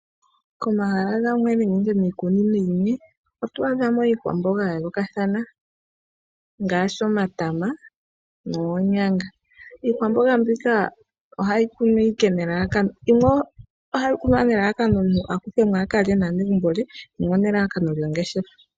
Komahala gamwe nenge miikunino yimwe oto adha mo iikwamboga ya yoolokathana ngaashi omatama, noonyanga. Iikwamboga mbika ohayi kunwa ike nelalakano, yimwe ohayi kunwa nelalakano omuntu a kuthe mo a kalye naanegumbo lye, yimwe onelalakano lyo ngeshefa.